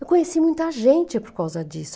Eu conheci muita gente por causa disso.